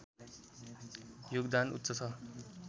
योगदान उच्च छ